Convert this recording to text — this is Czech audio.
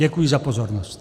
Děkuji za pozornost.